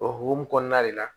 O hokumu kɔnɔna de la